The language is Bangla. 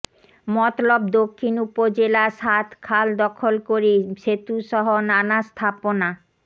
মতলব দক্ষিণ উপজেলা সাত খাল দখল করে সেতুসহ নানা স্থাপনা